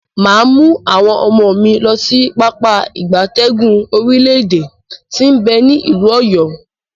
Maa mu awon omo mi losi Pápá ìgbatẹ́gùn orile ede ti n be ni ilu Oyo.